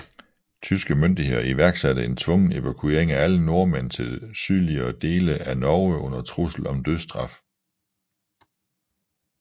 Tyske myndigheder iværksatte en tvungen evakuering af alle nordmænd til sydligere dele af Norge under trussel om dødsstraf